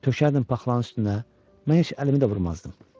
Tökərdim paxlanın üstünə, mən heç əlimi də vurmazdım.